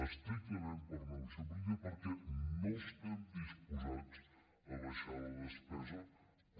estrictament per negociació política perquè no estem disposats a abaixar la despesa com